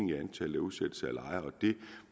i antallet af udsættelser af lejere